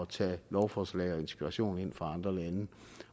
tage lovforslag og inspiration ind fra andre lande